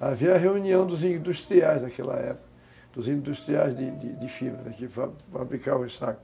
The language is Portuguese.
havia a reunião dos industriais daquela época, dos industriais de de fibra, que fabricavam os sacos.